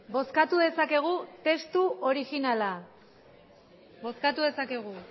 bozkatu dezakegu testu originala bozkatu dezakegu